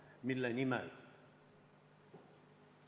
Ja mille nimel?